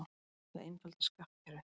Ætla að einfalda skattkerfið